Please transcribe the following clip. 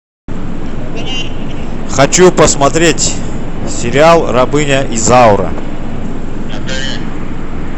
хочу посмотреть сериал рабыня изаура